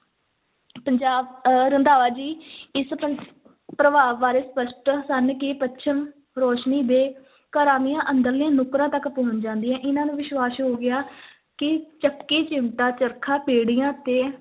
ਪੰਜਾਬ ਅਹ ਰੰਧਾਵਾ ਜੀ ਇਸ ਪਰ~ ਪ੍ਰਭਾਵ ਬਾਰੇ ਸਪਸ਼ਟ ਸਨ ਕਿ ਪੱਛਮ ਰੋਸ਼ਨੀ ਦੇ ਘਰਾਂ ਦੀਆਂ ਅੰਦਰਲੀਆਂ ਨੁੱਕਰਾਂ ਤੱਕ ਪਹੁੰਚ ਜਾਂਦੀਆਂ, ਇਹਨਾਂ ਨੂੰ ਵਿਸ਼ਵਾਸ ਹੋ ਗਿਆ ਕਿ ਚੱਕੀ, ਚਿਮਟਾ, ਚਰਖਾ, ਪੀੜ੍ਹੀਆਂ ਤੇ